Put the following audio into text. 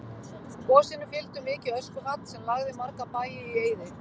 Gosinu fylgdi mikið öskufall sem lagði marga bæi í eyði.